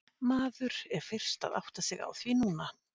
Maður er fyrst að átta sig á því núna.